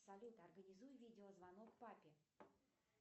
салют организуй видеозвонок папе